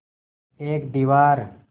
एक दीवार